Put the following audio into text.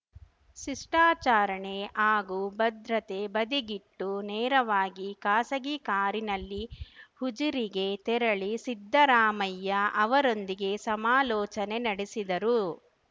ಶಿಷ್ಟಾಚಾರಣೆ ಹಾಗೂ ಭದ್ರತೆ ಬದಿಗಿಟ್ಟು ನೇರವಾಗಿ ಖಾಸಗಿ ಕಾರಿನಲ್ಲಿ ಉಜಿರೆಗೆ ತೆರಳಿ ಸಿದ್ದರಾಮಯ್ಯ ಅವರೊಂದಿಗೆ ಸಮಾಲೋಚನೆ ನಡೆಸಿದರು